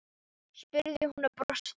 spurði hún og brosti.